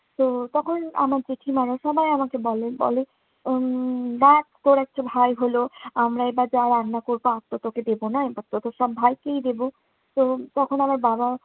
তো তখন আমার জেঠিমারা সবাই আমাকে বলে~ বলে উম দেক তোর একটা ভাই হলো, আমরা এবার যা রান্না করবো, আরতো তোকে দেবো না, এবারতো তোর সব ভাইকেই দেবো। তো তখন বাবা